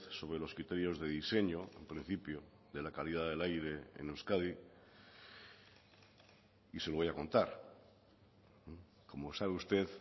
sobre los criterios de diseño en principio de la calidad del aire en euskadi y se lo voy a contar como sabe usted